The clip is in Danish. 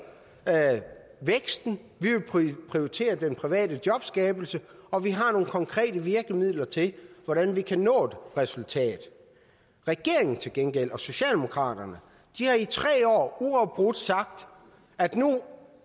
væksten vi vil prioritere den private jobskabelse og vi har nogle konkrete virkemidler til hvordan vi kan nå et resultat regeringen til gengæld og socialdemokraterne har i tre år uafbrudt sagt at nu